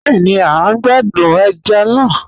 Bẹẹni, à n gbàdún ẹ̀já náà.